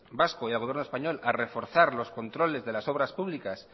vasco y al gobierno español a reforzar los controles de las obras públicas